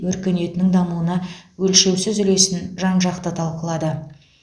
өркениетінің дамуына өлшеусіз үлесін жан жақты талқылады